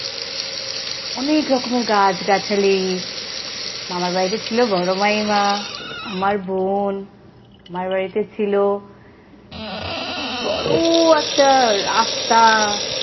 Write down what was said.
অনেক রকমের গাছ-গাছালি মামার বাড়িতে ছিল বড় মামিমা আমার বোন মামার বাড়িতে ছিল বড় একটা রাস্তা,